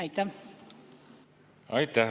Aitäh!